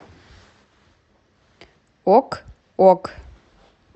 ок ок